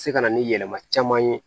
Se ka na ni yɛlɛma caman ye